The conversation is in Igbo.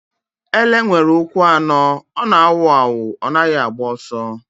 Ele nwere ụkwụ anọ. Ọ na-awu awụ. Ọ naghị agba ọsọ.